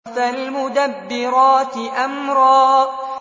فَالْمُدَبِّرَاتِ أَمْرًا